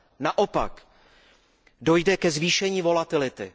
Naopak, dojde ke zvýšení volatility.